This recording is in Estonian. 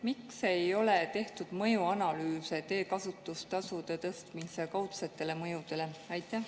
Miks ei ole tehtud mõjuanalüüse teekasutustasude tõstmise kaudsete mõjude kohta?